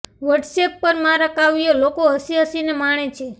WhatsApp પર મારાં કાવ્યો લોકો હસી હસીને માણે છે